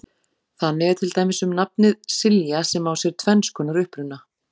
þannig er til dæmis um nafnið silja sem á sér tvenns konar uppruna